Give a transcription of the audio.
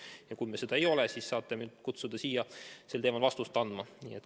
Ja kui me seda ei ole, siis saate mind kutsuda sel teemal vastust andma.